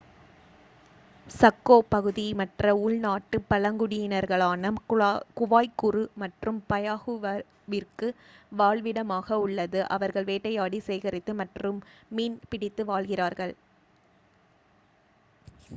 Chaco பகுதி மற்ற உள் நாட்டுக் பழங்குடியினர்களான குவாய்குரு மற்றும் பயாகுவாவிற்கு வாழ்விடமாக உள்ளது அவர்கள் வேட்டையாடி சேகரித்து மற்றும் மீன் பிடித்து வாழ்கிறார்கள்